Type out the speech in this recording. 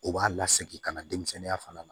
O b'a la segin ka na denmisɛnninya fana na